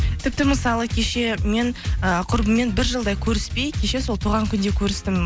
тіпті мысалы кеше мен ы құрбыммен бір жылдай көріспей кеше сол туған күнде көрістім